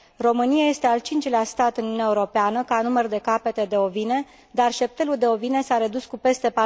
România este al cincilea stat în Uniunea Europeană ca număr de capete de ovine, dar șeptelul de ovine s a redus cu peste